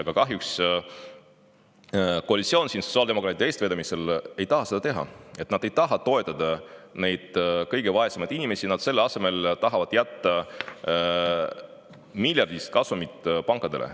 Aga kahjuks koalitsioon sotsiaaldemokraatide eestvedamisel ei taha seda teha, nad ei taha toetada kõige vaesemaid inimesi, selle asemel nad tahavad jätta miljardilise kasumi pankadele.